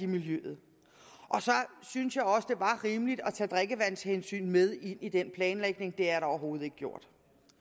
miljøet så synes jeg også det var rimeligt at tage drikkevandshensyn med ind i den planlægning det er der overhovedet ikke gjort